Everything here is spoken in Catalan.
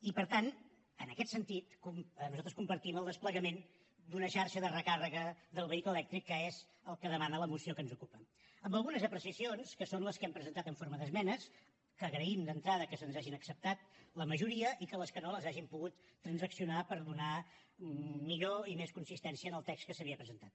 i per tant en aquest sentit nosaltres compartim el desplegament d’una xarxa de recàrrega del vehicle elèctric que és el que demana la moció que ens ocupa amb algunes apreciacions que són les que hem presentat en forma d’esmenes que agraïm d’entrada que se’ns n’hagin acceptat la majoria i que les que no les hàgim pogut transaccionar per donar millor i més consistència al text que s’havia presentat